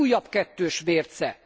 Ez újabb kettős mérce!